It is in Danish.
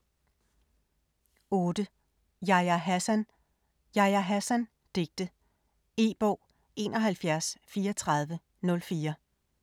8. Hassan, Yahya: Yahya Hassan: digte E-bog 713404